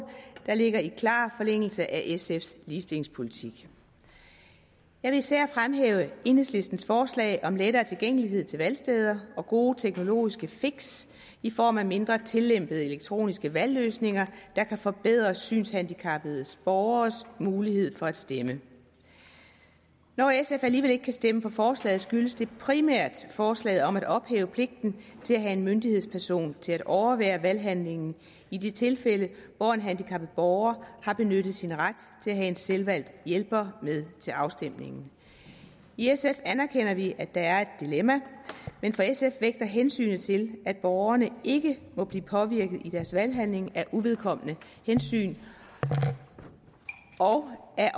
der ligger i klar forlængelse af sfs ligestillingspolitik jeg vil især fremhæve enhedslistens forslag om lettere tilgængelighed til valgsteder og gode teknologiske fix i form af mindre tillempede elektroniske valgløsninger der kan forbedre synshandicappede borgeres mulighed for at stemme når sf alligevel ikke kan stemme for forslaget skyldes det primært forslaget om at ophæve pligten til at have en myndighedsperson til at overvære valghandlingen i de tilfælde hvor en handicappet borger har benyttet sin ret til at have en selvvalgt hjælper med til afstemningen i sf anerkender vi at der er et dilemma men for sf vægter hensynet til at borgerne ikke må blive påvirket i deres valghandling af uvedkommende hensyn og